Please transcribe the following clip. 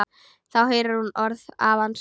Þá heyrir hún orð afans.